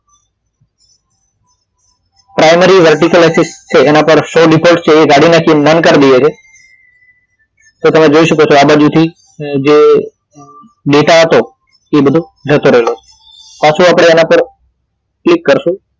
primary vertically assist છે એના પર show default છે એ કાઢી નાખીએ non કરી દઈએ છે તો તમે જોય શકો છો આ બાજુથી જે ડેટા હતો એ બધો જતો રહ્યો છે પાછો આપડે એના પર ક્લિક કરશું